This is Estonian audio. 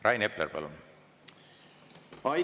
Rain Epler, palun!